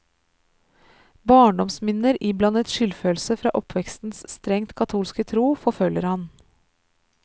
Barndomsminner iblandet skydfølelse fra oppvekstens strengt katolske tro forfølger ham.